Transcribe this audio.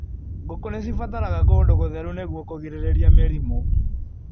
Ngũku nĩcibataraga kũndũ gũtheru nĩguo kũgirĩrĩria mĩrimũ.